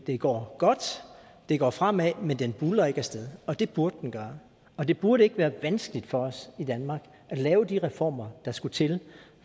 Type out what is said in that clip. det går godt det går fremad men den buldrer ikke af sted og det burde den gøre og det burde ikke være vanskeligt for os i danmark at lave de reformer der skal til